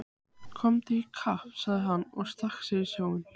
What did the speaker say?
Komdu í kapp sagði hann og stakk sér í sjóinn.